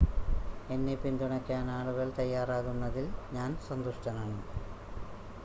എന്നെ പിന്തുണയ്ക്കാൻ ആളുകൾ തയ്യാറാകുന്നതിൽ ഞാൻ സന്തുഷ്ടനാണ്